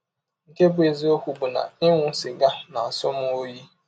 Nke bụ́ eziọkwụ bụ na ịṅụ sịga na - asọ m ọyi.